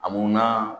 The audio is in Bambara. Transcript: A munna